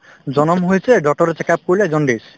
জনম হৈছে doctor ৰে check up কৰিলে jaundice